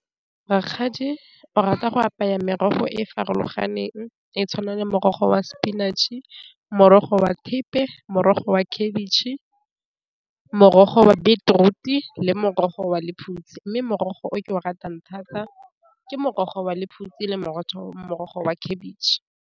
Rakgadi o rata go apeya merogo e e farologaneng e tshwana le morogo wa spinach-e, morogo wa thepe, morogo wa khebitšhe, morogo wa beetroot-e, le morogo wa lephutsi, mme merogo o ke o ratang thata ke morogo wa lephutsi le morogo wa khabitšhe.